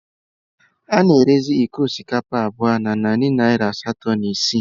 A na-erezi iko osikapa abụọ na narị naira asatọ na isii